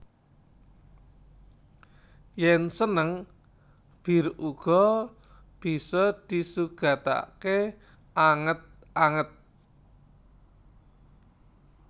Yen seneng bir uga bisa disugatake anget anget